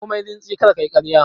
Komai rintsi kar ka yi ƙarya!